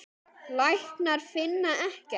Læknar finna ekkert.